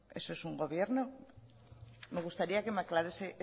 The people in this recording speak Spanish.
eso es un gobierno me gustaría que me aclarase